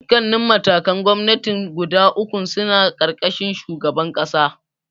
Dukkannin matakan gwamnatin guda ukun suna ƙarƙashin shugaban ƙasa.